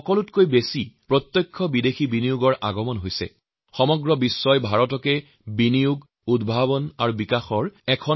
সমগ্ৰ বিশ্ব বাণিজ্যই এতিয়া ভাৰতৰ প্ৰতি নজৰ ৰাখিছে কাৰণ আমিয়েই এতিয়া বিনিয়োগ আৰ নতুন উদ্ভাৱনাৰ কেন্দ্ৰ হৈ উঠিছো